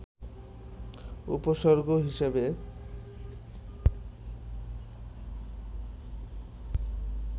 উপসর্গ হিসেবে